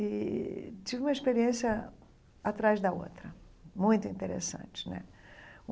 E tive uma experiência atrás da outra, muito interessante né.